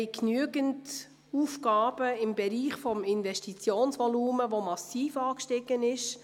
Wir haben genügend Aufgaben im Bereich des Investitionsvolumens, das massiv angestiegen ist.